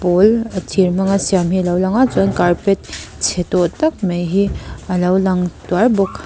pawl a thir hmang a siam hi a lo lang a chuan carpet che tawh tak mai hi a lo lang tuarh bawk.